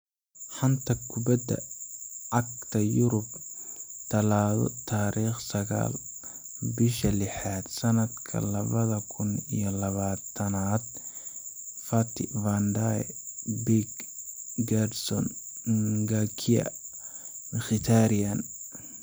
Xanta Kubadda Cagta Yurub Talaado tariq sagal, bisha lixaad, sanadka labada kun iyo labatanad: Fati, Van de Beek, Gerson, Ngakia, Mkhitaryan